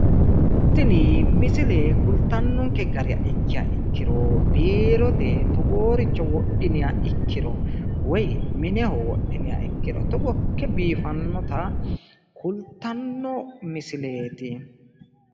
Tini misile kultannonke gara ikkiha ikkiro biirote togooricho wodhiniha ikkiro woyi mine wodhiniha ikkiro biifannota kultanno misileeti.